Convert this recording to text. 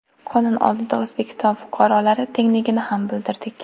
Qonun oldida O‘zbekiston fuqarolari tengligini ham bilardik.